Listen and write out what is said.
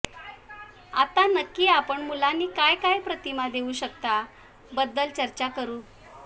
आता नक्की आपण मुलांनी काय काय प्रतिमा देऊ शकता बद्दल चर्चा करू